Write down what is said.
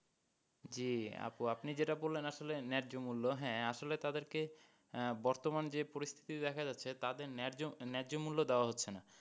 জি আপু আপনি যেটা বললেন আসলে নেহ্য মূল্য হ্যাঁ আসলে তাদেরকে বর্তমান যে পরিস্থিতি দেখা যাচ্ছে তাদের নেহ্য, নেহ্য মূল্য দেওয়া হচ্ছে না।